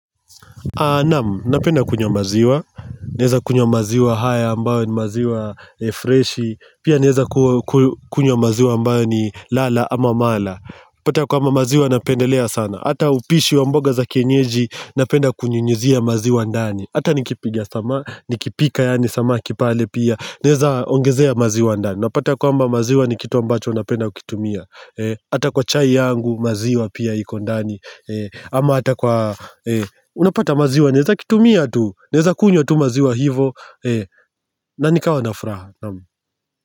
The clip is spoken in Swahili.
Naam, napenda kunywa maziwa, naeza kunywa maziwa haya ambayo ni maziwa freshi, pia naeza kunywa maziwa ambayo ni lala ama mala pata kwaamba maziwa napendelea sana, ata upishi wa mboga za kienyeji napenda kunyunyizia maziwa ndani Atanikipiga sama nikipika yaani samaki pale pia, naeza ongezea maziwa ndani, napata kwamba maziwa ni kitu ambacho napenda ukitumia ata kwa chai yangu maziwa pia iko ndani ama ata kwa Unapata maziwa neza kitumia tu neza kunywa tu maziwa hivo na nikawa nafuraha naam.